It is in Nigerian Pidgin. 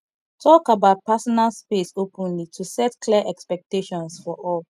talk about personal space openly to set clear expectations for all